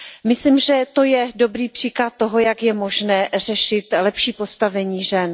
Myslím, že to je dobrý příklad toho, jak je možné řešit lepší postavení žen.